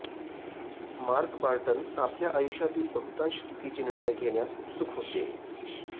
mark Barton आपल्या आयुष्यातील बहुतांश चुकीचे निर्णय घेण्यास उत्सुक होते